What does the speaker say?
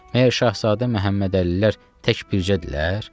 Məyər Şahzadə Məhəmməd Əlilər tək bircədirlər?